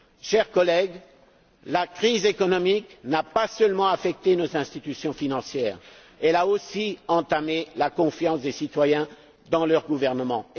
Chers collègues, la crise économique n'a pas seulement affecté nos institutions financières, elle a aussi entamé la confiance des citoyens dans leurs gouvernements.